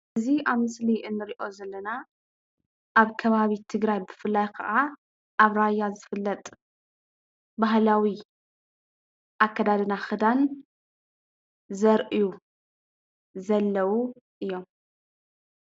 እዚ ኣብ ምስሊ እንርእዮ ዘለና ኣብ ከባቢ ትግራይ ብፍላይ ከዓ ኣብ ራያ ዝፍለጥ ባህላዊ ኣከዳድና ክዳን ዘርእዩ ዘለው እዮም።